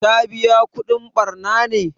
Ta biƴa kudin ɓarna ne?